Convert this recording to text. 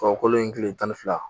Tubabulon in kile tan ni fila